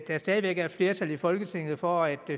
der stadig væk er et flertal i folketinget for at